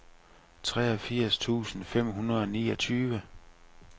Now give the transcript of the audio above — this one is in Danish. treogfirs tusind fem hundrede og niogtyve